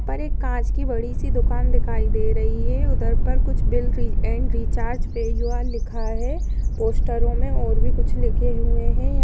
पर एक कांच की बड़ी सी दुकान दिखाई दे रही है उधर पर कुछ बिल रि एंड रिचार्ज पे यूं आर लिखा है पोस्टरों में और भी कुछ लिखे हुए है। यहाँं --